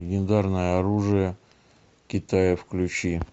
легендарное оружие китая включи